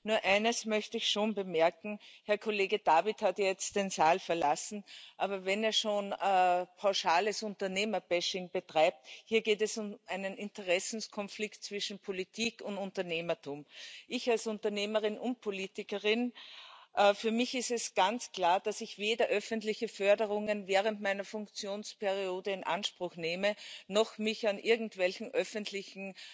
Nur eines möchte ich schon bemerken Herr Kollege David hat jetzt den Saal verlassen, aber wenn er schon pauschales Unternehmerbashing betreibt hier geht es um einen Interessenkonflikt zwischen Politik und Unternehmertum. Für mich als Unternehmerin und Politikerin ist es ganz klar, dass ich weder öffentliche Förderungen während meiner Funktionsperiode in Anspruch nehme noch mich an irgendwelchen öffentlichen